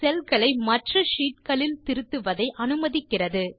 செல் களை மற்ற ஷீட் களில் திருத்துவதை அனுமதிக்கிறது